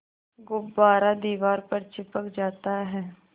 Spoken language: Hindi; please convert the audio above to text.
गुब्बारा दीवार पर चिपक जाता है